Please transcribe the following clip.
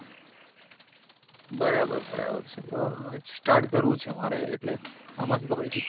બરાબર બરાબર છે તો હવે start કરવું છે મારે એટલે આમાં શું, ખબર છે?